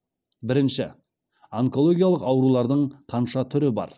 бірінші онкологиялық аурулардың қанша түрі бар